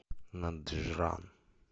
наджран